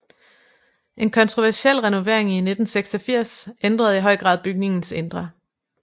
En kontroversiel renovering i 1986 ændrede i høj grad bygningens indre